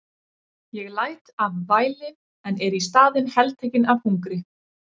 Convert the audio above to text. Ég læt af væli en er í staðinn heltekinn af hungri.